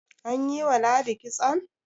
an yi wa ladi kitson?